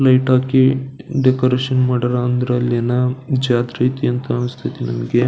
Light ಹಾಕಿ decoration ಮಾಡ್ಯಾರ ಅಂದ್ರ ಅಲ್ಲಿ ಏನ ಜಾತ್ರೆ ಐತಿ ಅಂತ ಅನ್ನಿಸತೈತಿ ನನಗೆ.